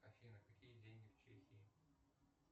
афина какие деньги в чехии